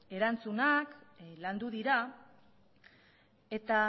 erantzunak landu dira eta